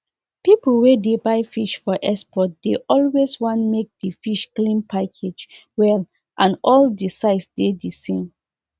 people wey dey buy fish for export dey always want make di fish clean package well and all di size dey the same